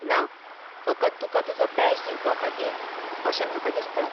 ना, फकत तुका तुजो बॅज दिवपा खातीर अशें म्हाका दिसता.